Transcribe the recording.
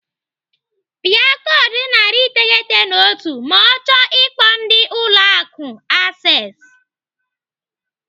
Pịa koodu narị iteghete na otu ma ọ chọọ ikpo ndị Ụlọ Akụ Access.